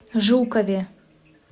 жукове